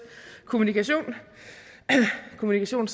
kommunikation kommunikation